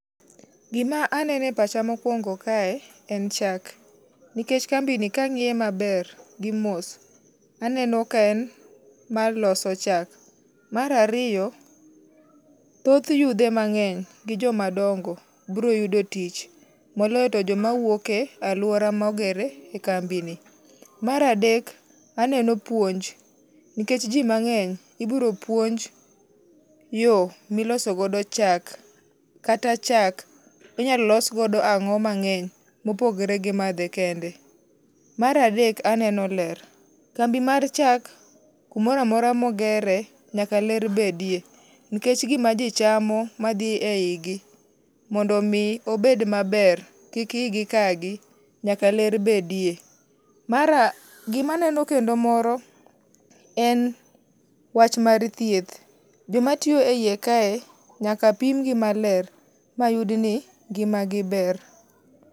Gima anene e pacha mokuongo kae, en chak. Nikech kambi ni kang'iye maber gi mos, aneno ka en mar loso chak. Mar ariyo, thoth yudhe mang'eny gi joma dongo biro yudo tich. Moloyo to joma wuok e alwora mogere kambi ni. Mar adek aneno puonj, nikech ji mang'eny ibiro puonj yo miloso godo chak kata chak inyalo los godo ang'o mang'eny mopogre gi madhe kende. Mar adek aneno ler. Kambi mar chak, kumora mora mogere, nyaka ler bedie. Nikech gima ji chamo, madhi e igi mondo omi obed maber, kik igi kaa gi, nyaka ler bedie. Mar a, gimaneno kendo moro en wach mar thieth. Joma tiyo e iye kae nyaka pim gi maler ma yud ni ngima gi ber.